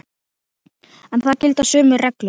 En þar gilda sömu reglur.